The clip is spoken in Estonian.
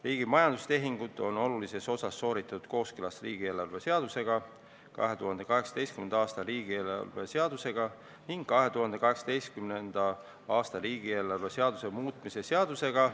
Riigi majandustehingud on olulises osas sooritatud kooskõlas 2018. aasta riigieelarve seadusega ning 2018. aasta riigieelarve seaduse muutmise seadusega.